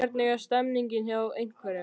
Hvernig er stemningin hjá Einherja?